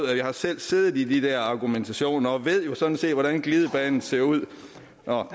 jeg har selv siddet i de der argumentationer og ved jo sådan set hvordan glidebanen ser ud